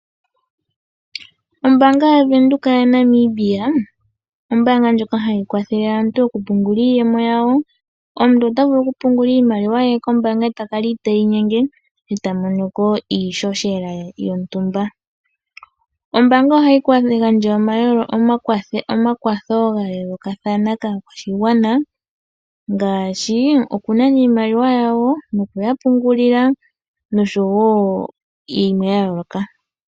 Ombanga yaVenduka yaNamibia ombanga ndjoka hayi kwathelele aantu oku pungula iiyemo yawo. Omuntu ota vulu oku pungula iimaliwa ye kombanga eta kala iteyi nyenye eta monoko iishoshela ye yontumba. Ombanga ohayi gandja omakwatho gayoolokathana kakwashigwana ngaashi oku nana iimaliwa yawo nokuya pungulila noshowo yimwe ya yoloka.